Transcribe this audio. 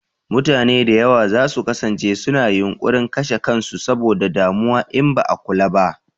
Mutane da yawa za su kasance su na yunƙurin kashe kan su saboda damuwa in ba a kula ba